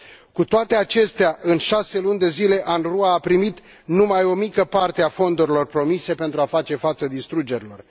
Cu toate acestea, în șase luni de zile, UNRWA a primit numai o mică parte a fondurilor promise pentru a face față distrugerilor.